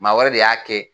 Maa wɛrɛ de y'a kɛ